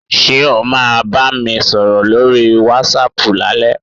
Ṣé o máa bá mi sọ̀rọ̀ lórí wásaàpù lálẹ́?